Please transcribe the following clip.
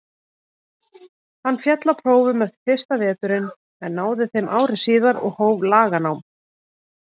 Hann féll á prófum eftir fyrsta veturinn en náði þeim ári síðar og hóf laganám.